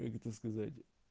как это сказать